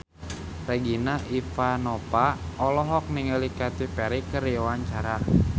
Regina Ivanova olohok ningali Katy Perry keur diwawancara